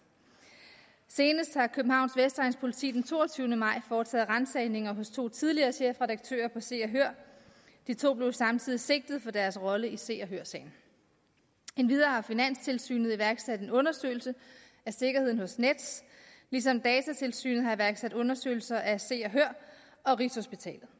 senest har københavns vestegns politi den toogtyvende maj foretaget ransagninger hos to tidligere chefredaktører på se og hør de to blev samtidig sigtet for deres rolle i se og hør sagen endvidere har finanstilsynet iværksat en undersøgelse af sikkerheden hos nets ligesom datatilsynet har iværksat undersøgelser af se og hør og rigshospitalet